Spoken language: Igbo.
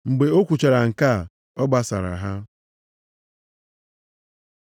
Mgbe o kwuchara nke a, ọ gbasara ha.